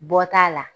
Bɔ t'a la